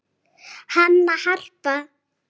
Hanna, Harpa